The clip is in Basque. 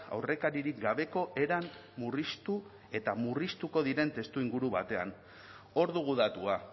aurrekaririk gabeko eran murriztu eta murriztuko diren testuinguru batean hor dugu datua